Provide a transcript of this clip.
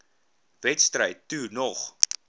wedstryd toe nog